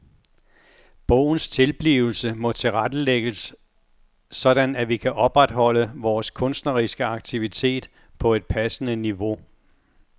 Bogens tilblivelse må tilrettelægges sådan at vi kan opretholde vores kunstneriske aktivitet på et passende niveau.